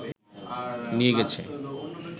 নিয়ে গেছে